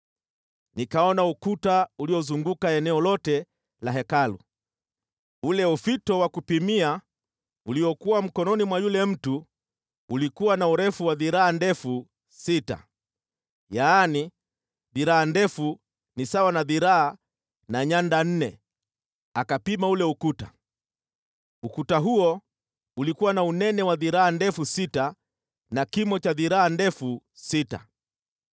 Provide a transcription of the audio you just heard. Nikaona ukuta uliozunguka eneo lote la Hekalu. Ule ufito wa kupimia uliokuwa mkononi mwa yule mtu ulikuwa na urefu wa dhiraa ndefu sita, yaani, dhiraa ndefu ni sawa na dhiraa na nyanda nne, akapima ule ukuta. Ukuta huo ulikuwa na unene wa dhiraa ndefu sita na kimo cha dhiraa ndefu sita.